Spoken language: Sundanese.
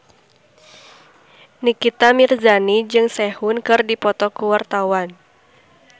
Nikita Mirzani jeung Sehun keur dipoto ku wartawan